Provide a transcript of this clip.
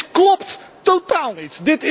Dit klopt totaal niet.